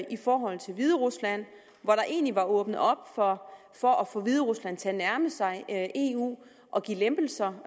i forhold til hviderusland hvor der egentlig var åbnet op for for at få hviderusland til at nærme sig eu og give lempelser